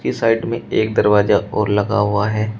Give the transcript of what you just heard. इस साइड में एक दरवाजा और लगा हुआ है।